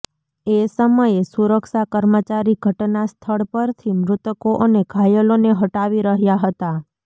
એ સમયે સુરક્ષા કર્મચારી ઘટનાસ્થળ પરથી મૃતકો અને ઘાયલોને હટાવી રહ્યા હતા